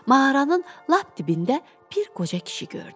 Mağaranın lap dibində bir qoca kişi gördü.